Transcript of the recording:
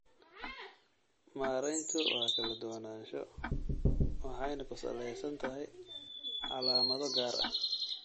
Maareyntu waa kala duwanaansho waxayna ku salaysan tahay calaamado gaar ah.